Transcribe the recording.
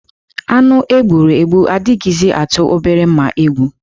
Anụ e gburu egbu adịghịzị atụ obere mma egwu.